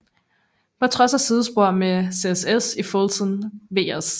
På trods af sidespor med CSS i Fulton vs